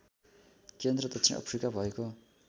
केन्द्र दक्षिण अफ्रिका भएको